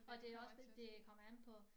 Og det også for det kommer an på